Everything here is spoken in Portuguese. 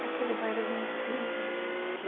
E aquele banheiro limpinho...